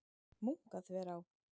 Munkaþverá